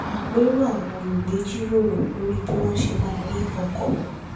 àpérò àwọn olùgbé jíròrò lórí bí wọn ṣe máa ri ọkọ